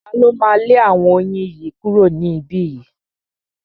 Ta ló máa lé àwọn oyin yìí kúrò ní ibí yìí?